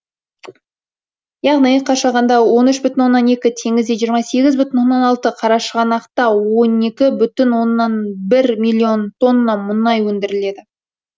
яғни қашағанда он үш бүтін оннан екі теңізде жиырма сегіз бүтін оннан алты қарашығанақта он екі бүтін оннан бір миллион тонна мұнай өндіріледі